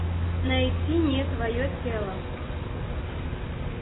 найти не твое тело